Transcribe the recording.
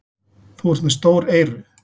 Þú ert með stór eyru.